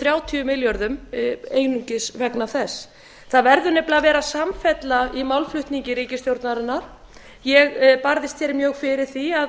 þrjátíu milljörðum einungis vegna þess það verður nefnilega að vera samfella í málflutningi ríkisstjórnarinnar ég barðist mjög fyrir því